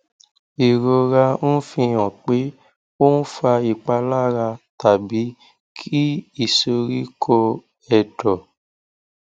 ìrora ń fi hàn pé ó ń fa ìpalára tàbí kí ìsoríkó ẹdọ